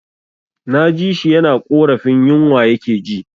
Na ji shi yana ƙorafin yinwa ya ke ji